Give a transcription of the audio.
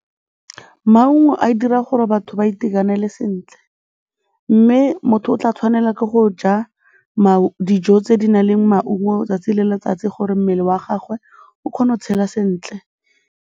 Maungo a dira gore batho ba itekanele sentle mme motho o tla tshwanela ke go ja dijo tse di nang le maungo 'tsatsi le letsatsi gore mmele wa gagwe o kgone go tshela sentle.